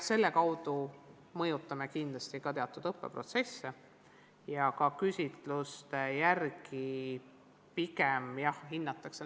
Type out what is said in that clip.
Selle kaudu mõjutame kindlasti ka teatud õppeprotsesse ja küsitluste järgi seda pigem hinnatakse.